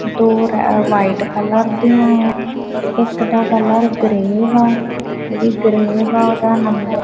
ਦੋ ਰੇ white colour ਦਿਆਂ ਹੈਂ ਇੱਕ ਦਾ ਕਲਰ ਗ੍ਰੇਯ ਹੈ ਜੇਹੜੀ ਗ੍ਰੇਯ ਹੈ ਓਹਦਾ ਨੰਬਰ --